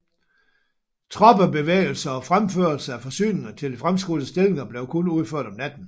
Troppebevægelser og fremførelse af forsyninger til de fremskudte stillinger blev kun udført om natten